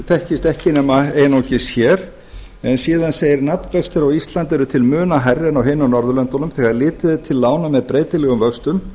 þekkist ekki nema einungis hér en síðan segir nafnvextir á íslandi eru til muna hærri en á hinum norðurlöndunum þegar litið er til lána með breytilegum vöxtum